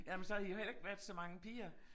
Ja men så har I jo heller ikke været så mange piger